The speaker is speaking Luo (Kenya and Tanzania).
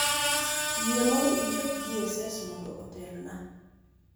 yie mondo ichop g. s. s. mondo otelna